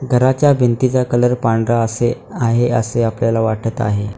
घराच्या भिंतीचा कलर पांढरा असे आहे असे आपल्याला वाटत आहे.